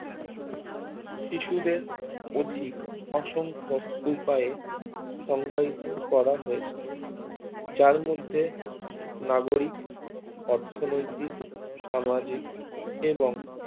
শিশুদের অধিক অসংখ উপায়ে সংজ্ঞায়িত করা হয়েছে যার মধ্যে নাগরিক অর্থনৈতিক সামাজিক এবং